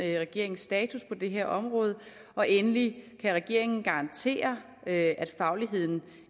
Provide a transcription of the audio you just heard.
er regeringens status på det her område og endelig kan regeringen garantere at fagligheden